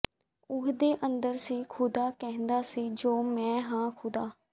ਉਹਦੇ ਅੰਦਰ ਸੀ ਖੁਦਾ ਕਹਿੰਦਾ ਸੀ ਜੋ ਮੈਂ ਹਾਂ ਖੁਦਾ